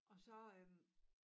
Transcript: Og så øh